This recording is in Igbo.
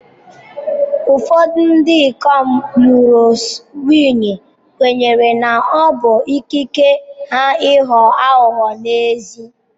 Ụfọdụ ndị ikom lụrụ nwunye kwenyere na ọ bụ ikike ha ịghọ aghụghọ n'ezi.